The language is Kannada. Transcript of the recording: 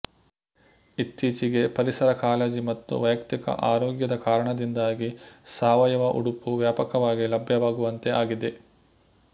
ಇತ್ತೀಚೆಗೆ ಪರಿಸರ ಕಾಳಜಿ ಮತ್ತು ವೈಯಕ್ತಿಕ ಆರೋಗ್ಯದ ಕಾರಣದಿಂದಾಗಿ ಸಾವಯವ ಉಡುಪು ವ್ಯಾಪಕವಾಗಿ ಲಭ್ಯವಾಗುವಂತೆ ಆಗಿದೆ